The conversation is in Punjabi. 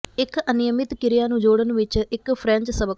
ਇੱਕ ਅਨਿਯਮਿਤ ਕਿਰਿਆ ਨੂੰ ਜੋੜਨ ਵਿੱਚ ਇੱਕ ਫਰੈਂਚ ਸਬਕ